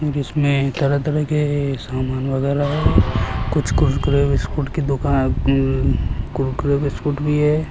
जिसमें तरह के सामान वगैरह कुछ कुरकुरे बिस्कुट की दुकान उं कुरकुरे बिस्कुट भी है